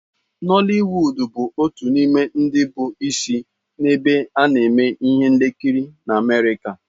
Holiwuud bụ otu n'ime ndi bụ isi nebe a neme ihe nkiri na Amerika.